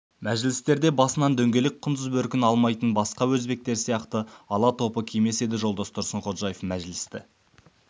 мәжілістерде басынан дөңгелек құндыз бөркін алмайтын басқа өзбектер сияқты ала топы кимес еді жолдас тұрсынходжаев мәжілісті